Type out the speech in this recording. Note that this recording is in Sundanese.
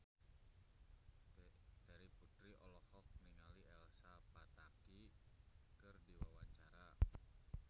Terry Putri olohok ningali Elsa Pataky keur diwawancara